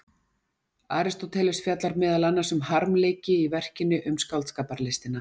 Aristóteles fjallar meðal annars um harmleiki í verkinu Um skáldskaparlistina.